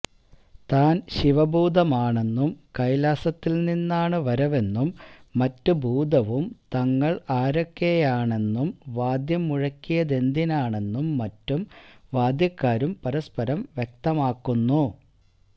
താന് ശിവഭൂതമാണെന്നും കൈലാസത്തില് നിന്നാണ് വരവെന്നും മറ്റും ഭൂതവും തങ്ങള് ആരൊക്കെയാണെന്നും വാദ്യം മുഴക്കിയതെന്തിനാണെന്നും മറ്റും വാദ്യക്കാരും പരസ്പരം വ്യക്തമാക്കുന്നു